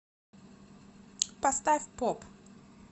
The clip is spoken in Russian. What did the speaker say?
поставь поп